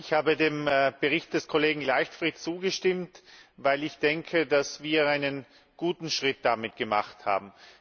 Ich habe dem Bericht des Kollegen Leichtfried zugestimmt, weil ich denke, dass wir einen guten Schritt damit gemacht haben.